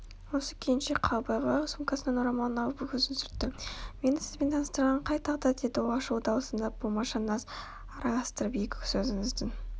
осы күйіңше қал бағила қол сумкасынан орамалын алып көзін сүртті мені сізбен таныстырған қай тағдыр деді ол ашулы дауысына болмашы наз араластырып екі сөзіңіздің